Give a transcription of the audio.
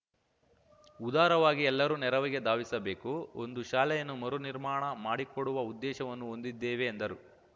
ಉದಾರವಾಗಿ ಎಲ್ಲರೂ ನೆರವಿಗೆ ಧಾವಿಸಬೇಕು ಒಂದು ಶಾಲೆಯನ್ನು ಮರು ನಿರ್ಮಾಣ ಮಾಡಿಕೊಡುವ ಉದ್ದೇಶವನ್ನು ಹೊಂದಿದ್ದೇವೆ ಎಂದರು